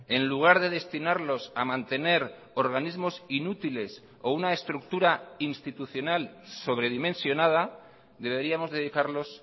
en lugar de destinarlos a mantener organismos inútiles o una estructura institucional sobredimensionada deberíamos dedicarlos